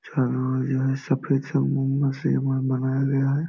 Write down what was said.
चारो ओर यह सफेद संगमरमर से बनाया गया है।